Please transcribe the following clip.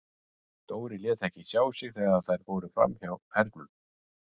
Dóri lét ekki sjá sig þegar þær fóru fram hjá Hernum.